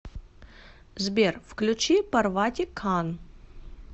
сбер включи парвати кан